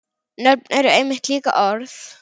Nöfn eru einmitt líka orð.